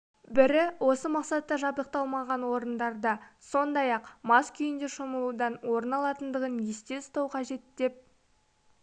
бірі осы мақсатта жабдықталмаған орындарда сондай-ақ мас күйінде шомылудан орын алатындығын есте ұстау қажет деп